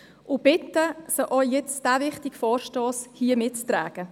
Ich bitte Sie, auch den vorliegenden, wichtigen Vorstoss mitzutragen.